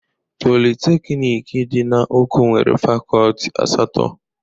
Polịteknik dị na Oko nwere Fakọlti asatọ.